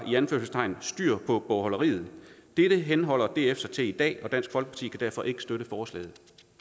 styr på bogholderiet dette henholder df sig til i dag og dansk folkeparti kan derfor ikke støtte forslaget